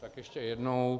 Tak ještě jednou.